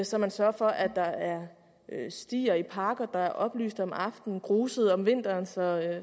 så man sørger for at der er stier i parker der er oplyst om aftenen og gruset om vinteren så